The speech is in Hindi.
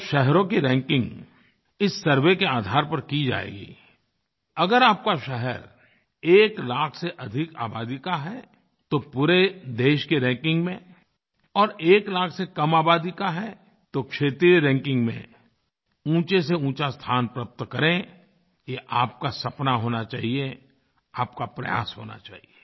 जब शहरों की रैंकिंग इस सर्वे के आधार पर की जाएगी अगर आपका शहर एक लाख से अधिक आबादी का है तो पूरे देश की रैंकिंग में और एक लाख से कम आबादी का है तो क्षेत्रीय रैंकिंग में ऊँचेसेऊँचा स्थान प्राप्त करे ये आपका सपना होना चाहिए आपका प्रयास होना चाहिए